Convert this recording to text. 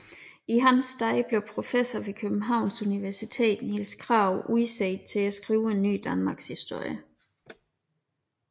I hans sted blev professor ved Københavns universitet Niels Krag udset til at skrive en ny danmarkshistorie